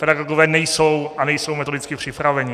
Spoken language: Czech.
Pedagogové nejsou a nejsou metodicky připraveni.